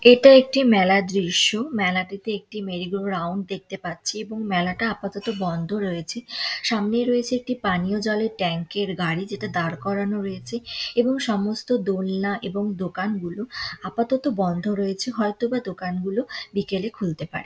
এটা একটি মেলার দৃশ্য মেলাটিতে একটি মেরিগোরাউন্ড দেখতে পাচ্ছি এবং মেলাটা আপাততো বন্ধ রয়েছে সামনে রয়েছে একটি পানীয় জলের ট্যাঙ্ক -এর গাড়ি যেটা দাঁড় করানো রয়েছে এবং সমস্ত দোলনা এবং দোকানগুলো আপাতত বন্ধ রয়েছে হয়তো বা দোকান গুলো বিকেলে খুলতে পারে।